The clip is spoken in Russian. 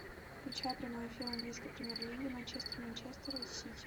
включай прямой эфир английской премьер лиги манчестер манчестер сити